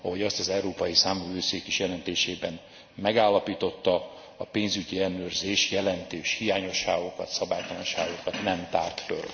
Ahogy azt az Európai Számvevőszék is jelentésében megállapította, a pénzügyi ellenőrzés jelentős hiányosságokat, szabálytalanságokat nem tárt föl.